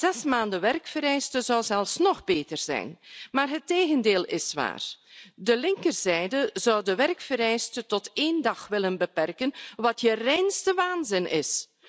Zes maanden werkvereiste zou zelfs nog beter zijn. Maar het tegendeel is waar de linkerzijde zou de werkvereiste tot één dag willen beperken, wat je reinste waanzin is.